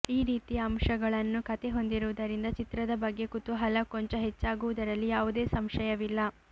ಈ ರೀತಿಯ ಅಂಶಗಳನ್ನು ಕತೆ ಹೊಂದಿರುವುದರಿಂದ ಚಿತ್ರದ ಬಗ್ಗೆ ಕುತೂಹಲ ಕೊಂಚ ಹೆಚ್ಚಾಗುವುದರಲ್ಲಿ ಯಾವುದೇ ಸಂಶಯವಿಲ್ಲ